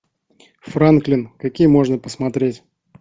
франклин какие можно посмотреть